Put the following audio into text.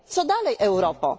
1. Co dalej Europo?